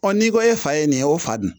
n'i ko e fa ye nin ye o fa nin